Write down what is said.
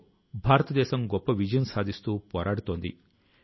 అందుకే క్షణం కూడా వృథా చేయకుండా ఉండాలి